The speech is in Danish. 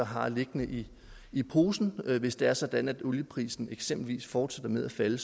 har liggende i i posen hvis det er sådan at olieprisen eksempelvis fortsætter med at falde